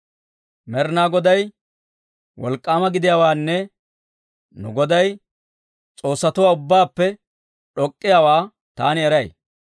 Med'inaa Goday wolk'k'aama gidiyaawaanne nu Goday s'oossatuwaa ubbaappe d'ok'k'iyaawaa, taani eray.